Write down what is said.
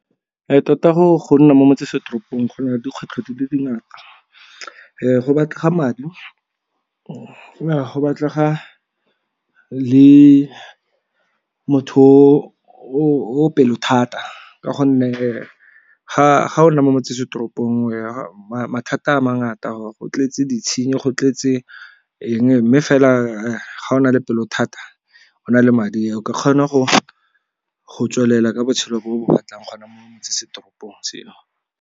Tota go nna mo motsesetoropong gona dikgwetlho di le dingata. Go batlega madi a go batlega le motho o pelo thata ka gonne ga o nna mo motsesetoropong mathata a mangata, go tletse ditshenyi go tletse eng mme fela ga o na le pelo thata o na le madi o ka kgona go tswelela ka botshelo bo o bo batlang gona motsesetoropong .